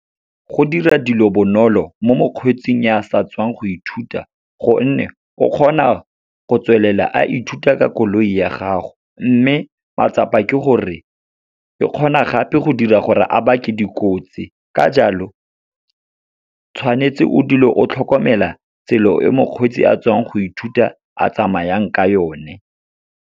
Go dira dilo bonolo mo mokgweetsing ya sa tswang go ithuta, gonne o kgona go tswelela a ithuta ka koloi ya gago. Mme matsapa ke gore, e kgona gape go dira gore a bake dikotsi ka jalo, tshwanetse o dule o tlhokomela tsela e mokgweetsi a tswang go ithuta a tsamayang ka yone.